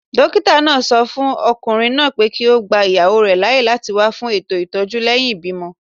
Dókítà náà sọ fún okùnrin náà pé kí ó gba ìyàwó rẹ̀ láàyè láti wá fún ètò ìtọ́jú lẹ́yìn ìbímọ